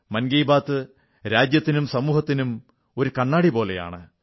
മൻ കീ ബാത്ത് രാജ്യത്തിനും സമൂഹത്തിനും ഒരു കണ്ണാടി പോലെയാണ്